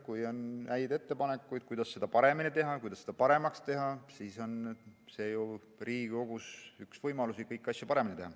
Kui on häid ettepanekuid, kuidas seda paremaks teha, siis see ongi ju Riigikogu võimalus kõiki asju paremini teha.